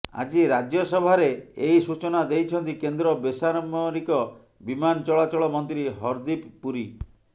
ଆଜି ରାଜ୍ୟସଭାରେ ଏହି ସୂଚନା ଦେଇଛନ୍ତି କେନ୍ଦ୍ର ବେସାମରିକ ବିମାନ ଚଳାଚଳ ମନ୍ତ୍ରୀ ହରଦୀପ ପୁରୀ